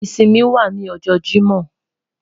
Isinmi wa ni ọjọ Jimọ